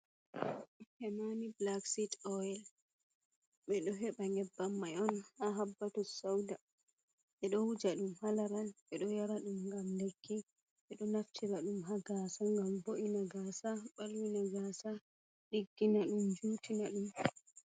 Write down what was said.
Hemani black seet oil. Ɓe ɗo heba ƴebbam mai on ha habbatu sauda. Ɓeɗo wuja dum halaral, ɓeɗo yara dum gam lekki, ɓeɗo naftira dum ha gasa ngam bo’ina gasa, balwina gasa, diggina dum jutina ɗum.